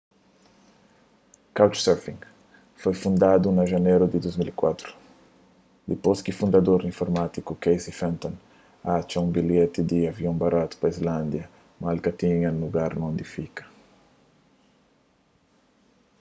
couchsurfing foi fundadu na janeru di 2004 dipôs ki prugramador informátiku casey fenton atxa un bilheti di avion baratu pa islândia mas el ka tinha un lugar di fika